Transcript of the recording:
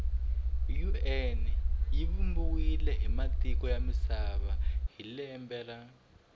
un yivumbiwe hhimatiko yamisava hhilembe ra